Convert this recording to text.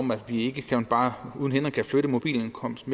man ikke bare uhindret kan flytte mobil indkomst